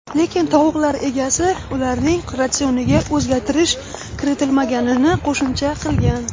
Lekin tovuqlar egasi ularning ratsioniga o‘zgartirish kiritmaganini qo‘shimcha qilgan.